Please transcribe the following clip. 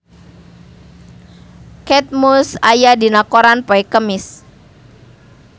Kate Moss aya dina koran poe Kemis